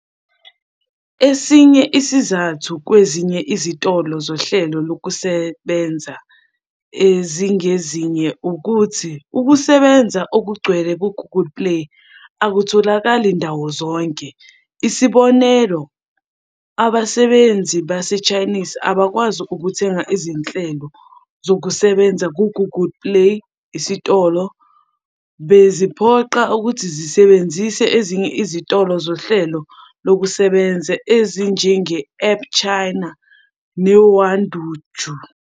Esinye isizathu kwezinye izitolo zohlelo lokusebenza ezingezinye ukuthi ukusebenza okugcwele kwe-Google Play akutholakali ndawo zonke. Isibonelo, abasebenzisi baseChinese abakwazi ukuthenga izinhlelo zokusebenza ku-Google Play Isitolo, beziphoqa ukuthi zisebenzise ezinye izitolo zohlelo lokusebenza ezinjenge-AppChina neWandoujia.